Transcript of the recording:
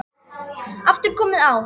aftur komið á.